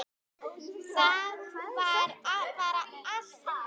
Það var bara allt undir.